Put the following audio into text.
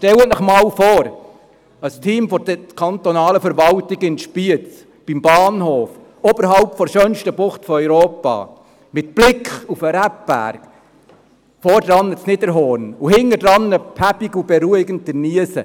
Stellen Sie sich einmal ein Team der kantonalen Verwaltung in Spiez vor, beim Bahnhof, oberhalb der schönsten Bucht Europas, mit Blick auf den Rebberg, vorne das Niederhorn und hinten, behäbig und beruhigend, der Niesen: